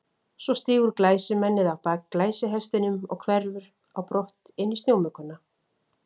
Svo stígur glæsimennið á bak glæsihestinum og hverfur á brott inn í snjómugguna.